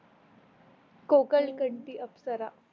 कोकण कळची अप्सरा